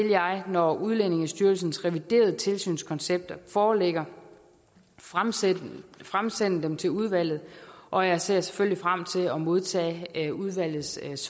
jeg når udlændingestyrelsens reviderede tilsynskoncepter foreligger fremsende fremsende dem til udvalget og jeg ser selvfølgelig frem til at modtage udvalgets